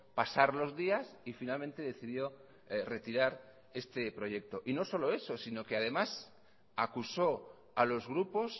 pasar los días y finalmente decidió retirar este proyecto y no solo eso sino que además acusó a los grupos